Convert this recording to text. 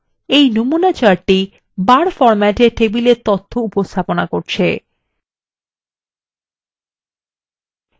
নমুনা chart বার ফরমেটএ table তথ্যর উপস্থাপনা দেখায়